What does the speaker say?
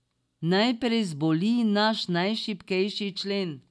Najprej zboli naš najšibkejši člen.